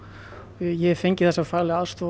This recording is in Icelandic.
ég hef fengið þessa faglegu aðstoð